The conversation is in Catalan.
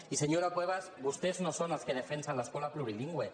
i senyora cuevas vostès no són els que defensen l’escola plurilingüe